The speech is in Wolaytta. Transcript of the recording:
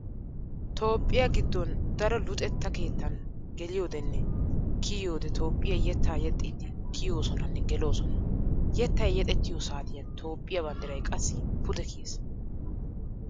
Toophphiya giddon daro luxeetta keettan geliyoodeenne kiyiyoodee Toophphiya yettaa yexxiidi kiyoosonanne geloosona. Yettay yexettiyoo saatiyan Toophphiya banddiray qassi pude kiyees.